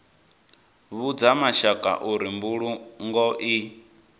vhudza mashaka uri mbulungo i